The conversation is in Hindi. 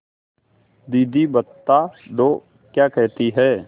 दीदी बता दो क्या कहती हैं